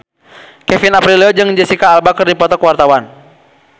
Kevin Aprilio jeung Jesicca Alba keur dipoto ku wartawan